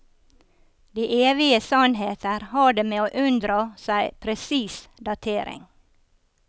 De evige sannheter har det med å unndra seg presis datering.